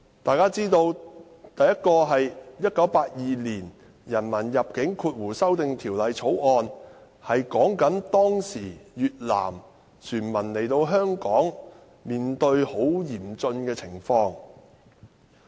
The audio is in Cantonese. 第一項是《1982年人民入境條例草案》，關於當時越南船民來香港後面對很嚴峻的情況。